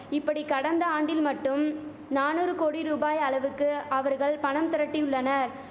இப்படி கடந்த ஆண்டில் மட்டும் நானுறு கோடி ரூபாய் அளவுக்கு அவர்கள் பணம் திரட்டியுள்ளனர்